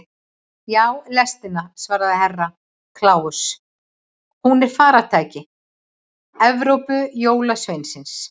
Já, lestina, svaraði Herra Kláus, hún er faratæki Evrópujólasveinsins.